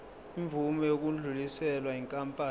imvume yokudluliselwa yinkampani